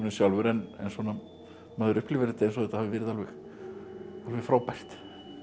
sjálfur en maður upplifir þetta eins og þetta hafi verið alveg frábært